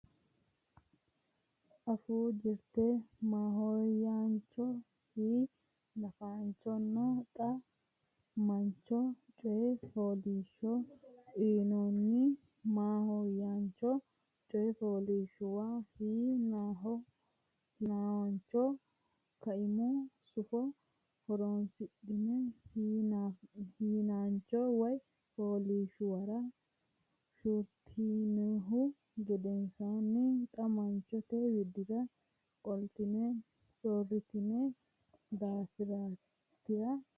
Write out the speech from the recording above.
Afuu Jirte Maahoyyaancho Hi naanchonna Xa maancho Coy Fooliishsho uynoonni maahoyyaancho coy fooliishshuwa hi naancho kaimu sufo horonsidhine hi naancho coy fooliishshuwara soorritinihu gedensaanni xa maanchote widira qoltine soorritine daftari nera.